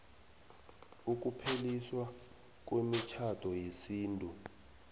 ukupheliswa kwemitjhado yesintu